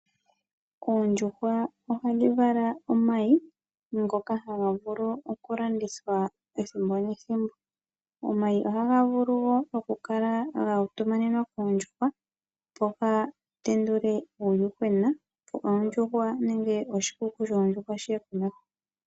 Oondjuhwa ohadhi vala omayi ngoka haga vulu okulandithwa ethimbo nethimbo. Omayi ohaga vulu wo okukala guutumanenwa koondjuhwa, opo ga tendule uuyuhwena, opo oondjuhwa nenge oshikuku shoondjuhwa shi ye komeho.